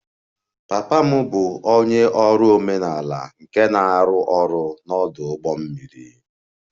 Papa m bụ onye ọrụ omenala nke na-arụ ọrụ n'ọdụ ụgbọ mmiri